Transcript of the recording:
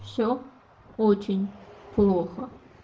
все очень плохо